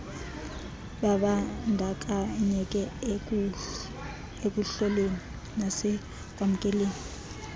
babandakanyeke ekuhloleni nasekwamkeleni